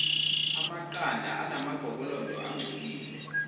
amaqanda anamagobolondo angcolile